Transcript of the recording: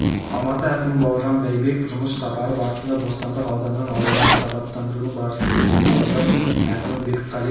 алматы әкімі бауыржан байбек жұмыс сапары барысында бостандық ауданының аулаларын абаттандырудың барысын тексерді аудан әкімі бекқали